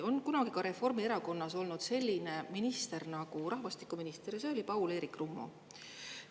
On kunagi ka Reformierakonnas olnud selline minister nagu rahvastikuminister ja see oli Paul-Eerik Rummo.